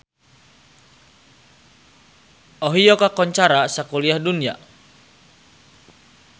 Ohio kakoncara sakuliah dunya